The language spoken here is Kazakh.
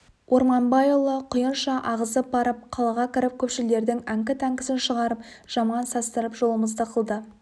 орманбайұлы құйынша ағызып барып қалаға кіріп көпшілдердің әңкі-тәңкісін шығарып жаман састырып жолымызды қылды